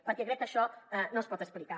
perquè crec que això no es pot explicar